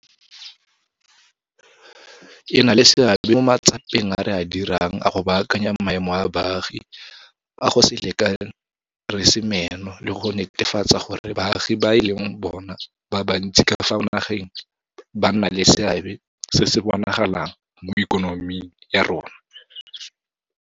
E na le seabe mo matsapeng a re a dirang a go baakanya maemo a baagi a go se lekane re se meno le go netefatsa gore baagi ba e leng bona ba bantsi ka fa nageng ba nna le seabe se se bonagalang mo ikonoming ya rona.